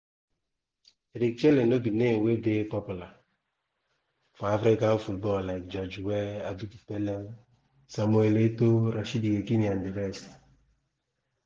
eric chelle no be name wey dey popular for african football like george weah abedi pele samuel eto'o rashidi yekini and di rest.